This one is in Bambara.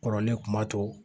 Kɔrɔlen kun b'a to